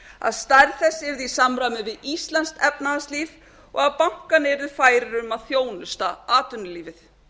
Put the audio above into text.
að stærð þess yrði í samræmi við íslenskt efnahagslíf og að bankarnir yrðu færir um að þjónusta atvinnulífið